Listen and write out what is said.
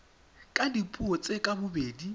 ka dipuo tse ka bobedi